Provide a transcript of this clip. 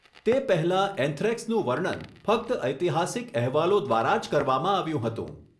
તે પહેલાં એન્થ્રેક્સનું વર્ણન ફક્ત ઐતિહાસિક અહેવાલો દ્વારા જ કરવામાં આવ્યું હતું.